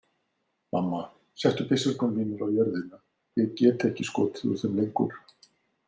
Mamma, settu byssurnar mínar á jörðina, ég get ekki skotið úr þeim lengur.